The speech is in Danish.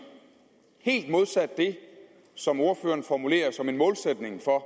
helt modsat det som ordføreren formulerer som en målsætning for